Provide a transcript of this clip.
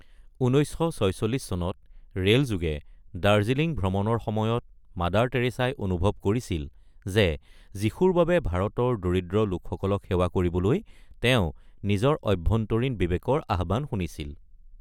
১৯৪৬ চনত ৰেলযোগে দাৰ্জিলিং ভ্ৰমণৰ সময়ত মাদাৰ টেৰেছাই অনুভৱ কৰিছিল যে যীশুৰ বাবে ভাৰতৰ দৰিদ্ৰ লোকসকলক সেৱা কৰিবলৈ তেওঁ নিজৰ অভ্যন্তৰীণ বিবেকৰ আহ্বান শুনিছিল।